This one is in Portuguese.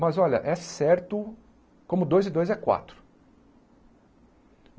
Mas olha, é certo como dois e dois é quatro.